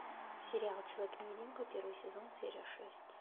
сериал человек невидимка первый сезон серия шесть